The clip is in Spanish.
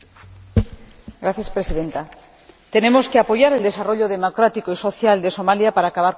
Señora Presidenta, tenemos que apoyar el desarrollo democrático y social de Somalia para acabar con la piratería.